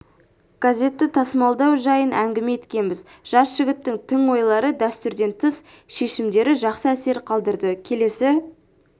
газетті тасымалдау жайын әңгіме еткенбіз жас жігіттің тың ойлары дәстүрден тыс шешімдері жақсы әсер қалдырды келесі